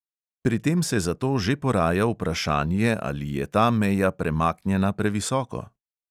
Pri tem se zato že poraja vprašanje, ali je ta meja premaknjena previsoko.